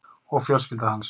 Og fjölskylda hans.